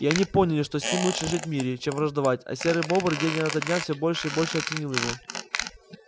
и они поняли что с ним лучше жить в мире чем враждовать а серый бобр день ото дня все больше и больше ценил его